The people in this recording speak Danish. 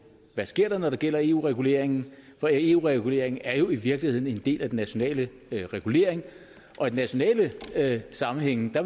der sker når det gælder eu regulering for eu regulering er i virkeligheden en del af den nationale regulering og i nationale sammenhænge